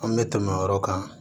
An bɛ tɛmɛ o yɔrɔ kan